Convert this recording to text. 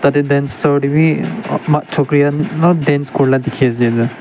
tatae dance floor tae bi chokri khan olop dance kurila dikhiase.